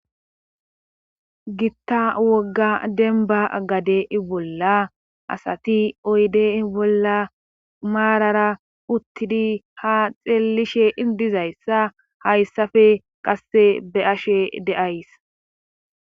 Gitta wogga denba gade ibolla asati oyde ibolla maarara uttidi ha xeellishe indizayssa hayssafe qasse be ashe deays.